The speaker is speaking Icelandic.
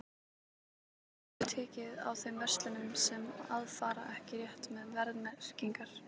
En hvernig verður tekið á þeim verslunum sem að fara ekki rétt með verðmerkingar?